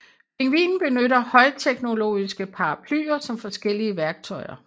Pingvinen benytter højteknologiske paraplyer som forskellige værktøjer